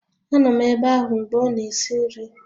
Anọ m ebe ahụ mgbe ọ na-esi nri